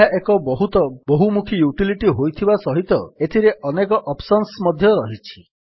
ଏହା ଏକ ବହୁତ ବହୁମୁଖୀ ୟୁଟିଲିଟୀ ହୋଇଥିବା ସହିତ ଏଥିରେ ଅନେକ ଅପ୍ସନ୍ସ ମଧ୍ୟ ରହିଛି